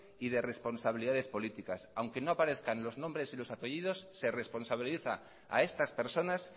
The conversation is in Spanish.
y de responsabilidades políticas aunque no aparezcan los nombres y los apellidos se responsabiliza a estas personas